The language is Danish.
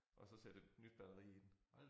Og så sætte et nyt batteri i den